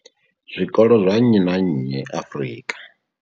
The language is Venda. zwikolo zwa nnyi na nnyi Afrika.